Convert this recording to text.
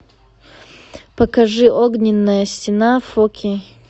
покажи огненная стена фор кей